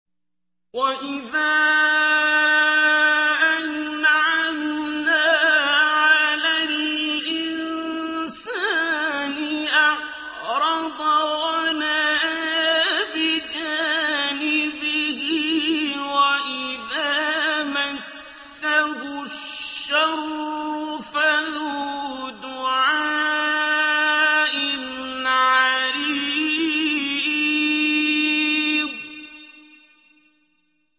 وَإِذَا أَنْعَمْنَا عَلَى الْإِنسَانِ أَعْرَضَ وَنَأَىٰ بِجَانِبِهِ وَإِذَا مَسَّهُ الشَّرُّ فَذُو دُعَاءٍ عَرِيضٍ